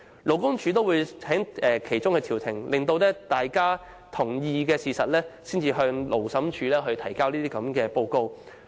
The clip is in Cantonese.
勞工處亦會從中調停，待僱傭雙方同意後，才向勞審處提交報告。